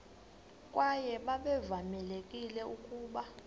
kwaye babevamelekile ukuba